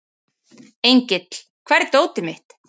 Engill, hvar er dótið mitt?